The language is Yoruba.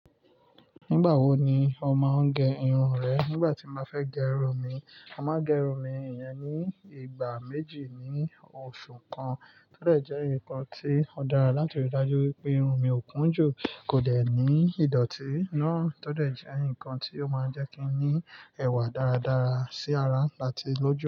Nígbà wo ni o máa ń gẹ irun rẹ? Nígbà tí n bá fẹ́ gẹ irun mi, a máa gẹ irun mi ìyẹn ní ìgbà méjì ní oṣù kan. Tódẹ̀ jẹ́ nǹkan tí ó dára láti ríi dájú wípé irun mi ò kún jù, kò dẹ̀ ní ìdọ̀tí náà, tódẹ̀ jẹ́ ǹkan tí ó máa ń jẹ́ kí n ní ẹwà dáradára sí ara àti lójú.